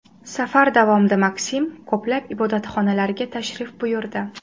Safar davomida MakSim ko‘plab ibodatxonalarga tashrif buyurdi.